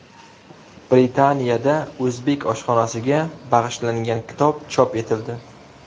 Britaniyada o‘zbek oshxonasiga bag‘ishlangan kitob chop etildi.